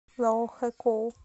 лаохэкоу